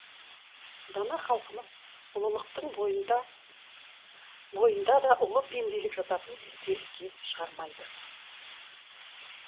дана халқымыз ұлылықтың бойында да ұлы пенделік жататынын теріске шығармайды